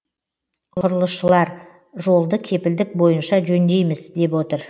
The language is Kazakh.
құрылысшылар жолды кепілдік бойынша жөндейміз деп отыр